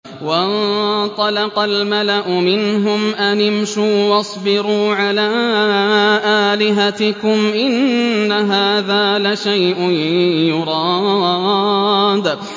وَانطَلَقَ الْمَلَأُ مِنْهُمْ أَنِ امْشُوا وَاصْبِرُوا عَلَىٰ آلِهَتِكُمْ ۖ إِنَّ هَٰذَا لَشَيْءٌ يُرَادُ